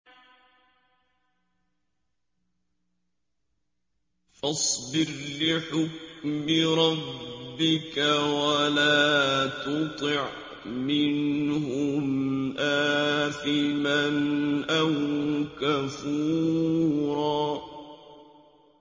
فَاصْبِرْ لِحُكْمِ رَبِّكَ وَلَا تُطِعْ مِنْهُمْ آثِمًا أَوْ كَفُورًا